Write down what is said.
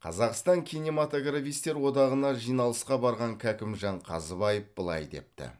қазақстан кинематографистер одағына жиналысқа барған кәкімжан қазыбаев былай депті